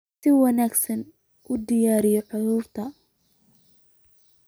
Si wanaagsan u daryeel carruurta